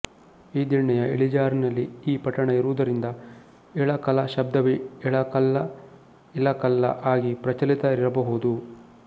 ಈ ದಿಣ್ಣೆಯ ಇಳಿಜಾರಿನಲ್ಲಿ ಈ ಪಟ್ಟಣ ಇರುವುದರಿಂದ ಇಳಕಲ ಶಬ್ದವೆ ಇಳಕಲ್ಲ ಇಲಕಲ್ಲ ಆಗಿ ಪ್ರಚಲಿತ ಇರಬಹುದು